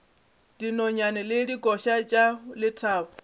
dinonyane le dikoša tša lethabo